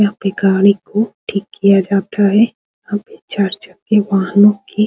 यहां पे गाड़ी को ठीक किया जाता है यहां पे चार चक्के वाहनों की।